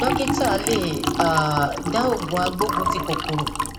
dọkítà lè um dá òògùn agbógunti kòkòrò